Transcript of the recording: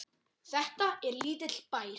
Þetta er lítill bær.